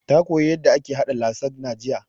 Ta koya yanda ake haɗa lasagna jiya